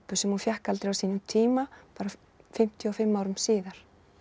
sem hún fékk aldrei á sínum tíma bara fimmtíu og fimm árum síðar